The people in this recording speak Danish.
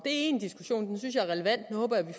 en diskussion den synes jeg er relevant